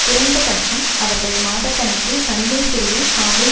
குறைந்தபட்சம் அவர்கள் மாத கணக்கில் தனிமை சிறையில் காவலில்